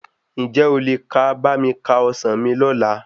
Ǹjẹ́ o lè ka bá mi ka ọsàn mi ní ọ̀la?